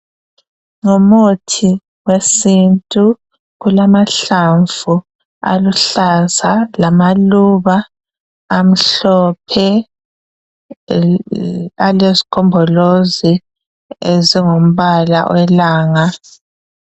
Ngumuthi wesintu, kulamahlamvu aluhlaza lamaluba amhlophe alezigombolozi ezingumbala welanga